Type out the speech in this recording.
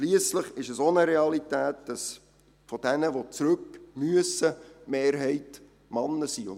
Schliesslich ist es auch eine Realität, dass diejenigen, die zurückkehren müssen, mehrheitlich Männer sind.